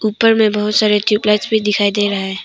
ऊपर में बहुत सारे ट्यूबलाइट भी दिखाई दे रहा है।